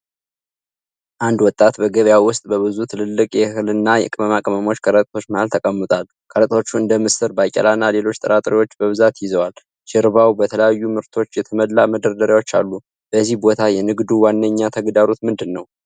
አንድ ወጣት በገበያ ውስጥ በብዙ ትላልቅ የእህል እና ቅመማ ቅመም ከረጢቶች መሃል ተቀምጧል። ከረጢቶቹ እንደ ምስር፣ ባቄላ እና ሌሎች ጥራጥሬዎች በብዛት ይዘዋል። ጀርባው በተለያዩ ምርቶች የተሞላ መደርደሪያዎች አሉ። በዚህ ቦታ የንግዱ ዋነኛ ተግዳሮት ምንድን ነው?